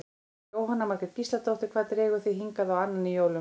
Jóhanna Margrét Gísladóttir: Hvað dregur þig hingað á annan í jólum?